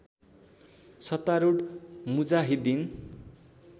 सत्तारुढ मुजाहिद्दिन